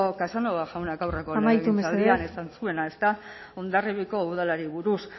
casanova jaunak amaitu mesedez aurreko legegintzaldian esan zuena ezta hondarribiko udalari buruz